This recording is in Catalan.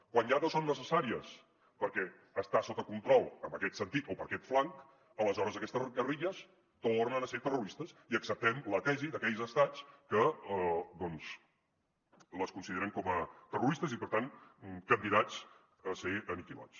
quan ja no són necessàries perquè està sota control en aquest sentit o per aquest flanc aleshores aquestes guerrilles tornen a ser terroristes i acceptem la tesi d’aquells estats que doncs les consideren com a terroristes i per tant candidats a ser aniquilats